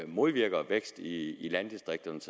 modvirker vækst i landdistrikterne